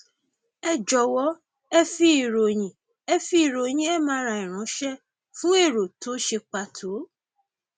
ẹ jọwọ ẹ fi ìròyìn ẹ fi ìròyìn mri ránṣẹ fún èrò tó ṣe pàtó